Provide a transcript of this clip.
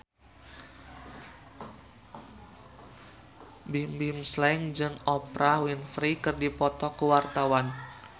Bimbim Slank jeung Oprah Winfrey keur dipoto ku wartawan